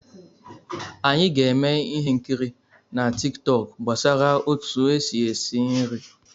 Anyị ga-eme ihe nkiri na Tik tọk gbasara otu esi esi nri.